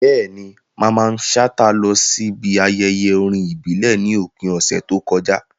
Bẹ́ẹ̀ni, Mamman Shata lọ síbi ayẹyẹ orin ìbílẹ̀ ní òpin ọ̀sẹ̀ tó kọjá.